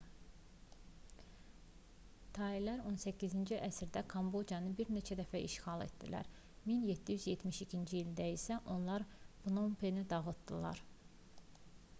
tailər 18-ci əsrdə kambocanı bir neçə dəfə işğal etdilər 1772-ci ildə isə onlar pnompeni dağıtdılar